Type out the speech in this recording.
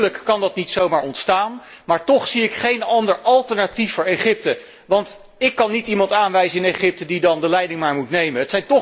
Natuurlijk kan dat niet zomaar ontstaan, maar toch zie ik geen ander alternatief voor Egypte, want ik kan niet iemand aanwijzen in Egypte die dan de leiding maar moet nemen.